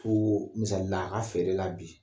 Ko misalila a ka feere la bi